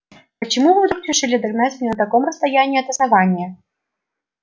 почему вы вдруг решили догнать меня на таком расстоянии от основания